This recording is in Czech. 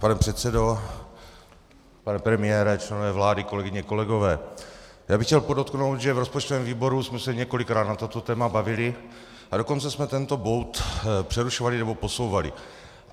Pane předsedo, pane premiére, členové vlády, kolegyně, kolegové, já bych chtěl podotknout, že v rozpočtovém výboru jsme se několikrát na toto téma bavili, a dokonce jsme tento bod přerušovali nebo posouvali.